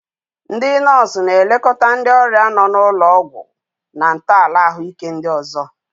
Ndị nọọsụ na-elekọta ndị ọrịa nọ n'ụlọ ọgwụ na ntọala ahụike ndị ọzọ.